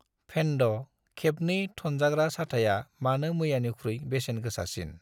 फेन्द' खेबनै थनजाग्रा साथाया मानो मैयानिख्रुइ बेसेन गोसासिन?